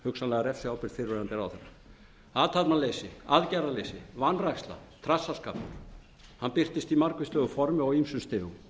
hugsanlega refsiábyrgð fyrrverandi ráðherra athafnaleysi birtist í margvíslegu formi og á ýmsum stigum